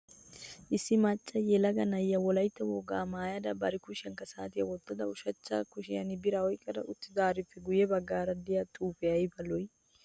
Issi maacca yelaga na'iya wolaytta wogaa maayuwa maayada bari kushiyankka saatiya wottada ushachcha kushiyan biiriya oyiqqada uttidaarippe guyye baggaara diya xuufee ayiba lo'i!